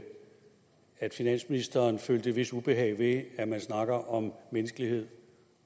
at finansministeren følte et vist ubehag ved at man snakker om menneskelighed